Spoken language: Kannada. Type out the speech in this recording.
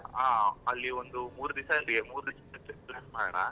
ಹಾ ಅಲ್ಲಿ ಒಂದು ಮೂರ್ ದಿವಸ ಅಲ್ಲಿ ಮೂರ್ ದಿವಸದ್ದು trip plan ಮಾಡೋಣ.